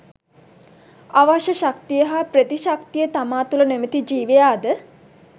අවශ්‍ය ශක්තිය හා ප්‍රතිශක්තිය තමාතුළ නොමැති ජීවියා ද